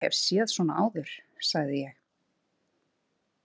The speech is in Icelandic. Ég hef séð svona áður, sagði ég.